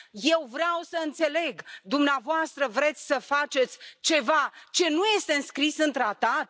Eu vreau să înțeleg dumneavoastră vreți să faceți ceva ce nu este înscris în tratat?